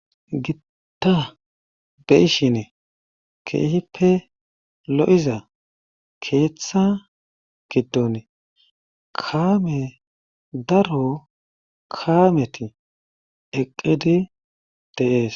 gitta be''ishine keehippe lo7iza keeththa giddon kaame daro kaameti eqqidi de'ees